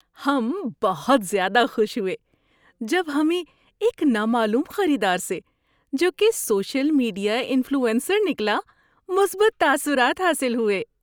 ہم بہت زیادہ خوش ہوئے جب ہمیں ایک نامعلوم خریدار سے، جو کہ سوشل میڈیا انفلوئنسر نکلا، مثبت تاثرات حاصل ہوئے۔